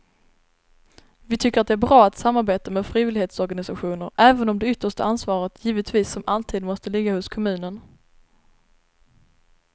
Vi tycker att det är bra att samarbeta med frivillighetsorganisationer även om det yttersta ansvaret givetvis som alltid måste ligga hos kommunen.